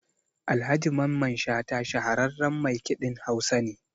Alhaji Mamman Shata shahararran maikiɗin Hausa ne.